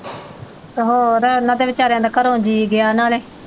ਤੇ ਹੋਰ ਉਨ੍ਹਾਂ ਦਾ ਵਿਚਾਰਿਆਂ ਦਾ ਘਰੋਂ ਜੀਅ ਗਿਆ ਨਾਲੇ।